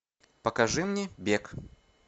покажи мне бег